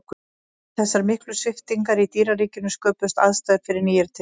við þessar miklu sviptingar í dýraríkinu sköpuðust aðstæður fyrir nýjar tegundir